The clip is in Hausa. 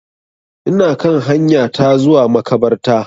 Ina kan hanya ta zuwa makabarta.